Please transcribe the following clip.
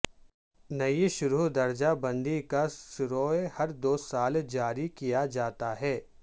نئی شرح درجہ بندی کا سروے ہر دو سال جاری کیا جاتا ہے